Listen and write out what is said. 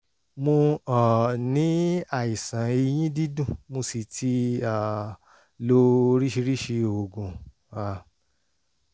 mo um ní àìsàn eyín dídùn mo sì ti um lo oríṣiríṣi oògùn um